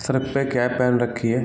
Sir पे cap पहन रखी हैं।